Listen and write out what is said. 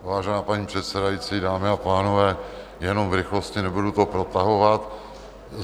Vážená paní předsedající, dámy a pánové, jenom v rychlosti, nebudu to protahovat.